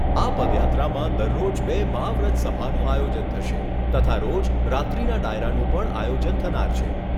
આ પદયાત્રામાં દરરોજ બે મહાવ્રત સભાનું આયોજન થશે તથા રોજ રાત્રીના ડાયરાનું પણ આયોજન થનાર છે.